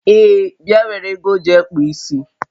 Ee, bịa nwere ego jee kpụọ isi